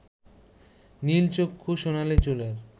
নীলচক্ষু সোনালী চুলের